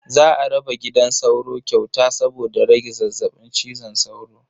Za a raba gidan sauro kyauta saboda rage zazzabin cizon sauro.